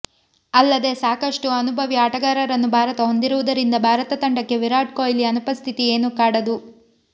ಅಲ್ಲದೇ ಸಾಕಷ್ಟು ಅನುಭವಿ ಆಟಗಾರರನ್ನು ಭಾರತ ಹೊಂದಿರುವುದರಿಂದ ಭಾರತ ತಂಡಕ್ಕೆ ವಿರಾಟ್ ಕೊಹ್ಲಿ ಅನುಪಸ್ಥಿತಿ ಏನೂ ಕಾಡದು